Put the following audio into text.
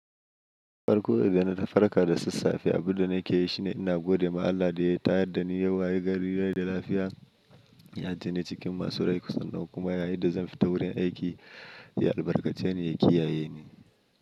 Farko da dana farka da sassafe, abunda nake yi shine ina gode ma Allah da ya tayar da ni yau wa yi gari da lafiya, ya ajeni cikin masu rai kusan nau, kuma yadda zan fita wurin aiki, ya albarkace ni yake yayeni.